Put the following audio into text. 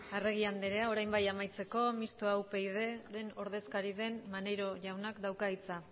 arregi andrea orain bai amaitzeko mistoa upyd ko ordezkari den maneiro jaunak dauka hitza